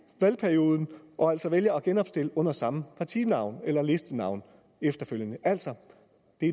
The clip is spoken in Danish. valgperioden og altså vælger at genopstille under samme partinavn eller listenavn efterfølgende er altså